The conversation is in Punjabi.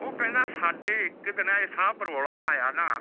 ਉਹ ਕਹਿੰਦਾ ਸਾਡੇ ਇਕ ਦਿਨ ਐਸਾ ਬਰੋਲਾ ਆਯਾ ਨਾ